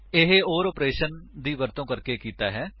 ਇਹ or operation ਦੀ ਵਰਤੋ ਕਰਕੇ ਕੀਤਾ ਹੈ